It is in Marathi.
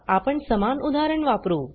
आपण समान उदाहरण वापरु